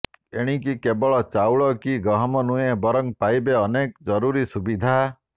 ଏଣିକି କେବଳ ଚାଉଳ କି ଗହମ ନୁହେଁ ବରଂ ପାଇବେ ଅନେକ ଜରୁରୀ ସୁବିଧା